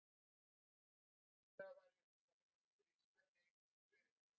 Brennivínið eyðileggur hákarlinn Drakkstu þá brennivín með?